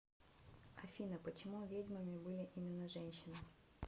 афина почему ведьмами были именно женщины